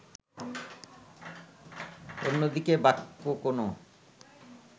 অন্যদিকে বাক্য কোন